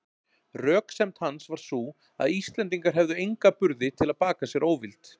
Röksemd hans var sú, að Íslendingar hefðu enga burði til að baka sér óvild